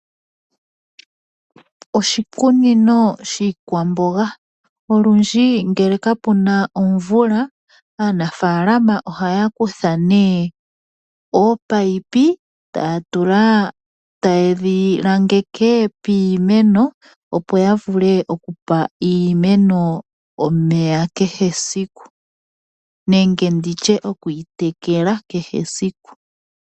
Oshikunino shiikwamboga. Olundji ngele kapu na omvula aanafaalama ohaya kutha nee ominino taye dhi langeke piimeno opo ya vule oku pa iimeno omeya kehe esiku nenge okuyi tekela kehe esiku.